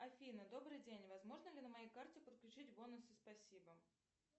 афина добрый день возможно ли на моей карте подключить бонусы спасибо